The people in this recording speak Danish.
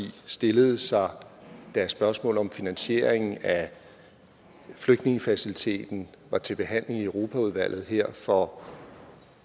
stillede sig da spørgsmålet om finansieringen af flygtningefaciliteten var til behandling i europaudvalget her for